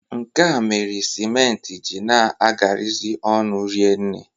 Nke a mere siment ji na-agarazị ọnụ rienne.